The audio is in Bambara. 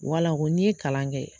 Wala ko n'i ye kalan kɛ